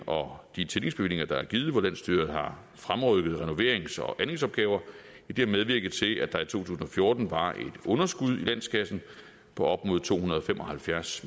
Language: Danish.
og de tillægsbevillinger der er givet hvor landsstyret har fremrykket renoverings og anlægsopgaver har medvirket til at der tusind og fjorten var et underskud i landskassen på op mod to hundrede og fem og halvfjerds